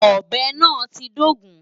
Ọ̀bẹ náà ti dógùn-ún.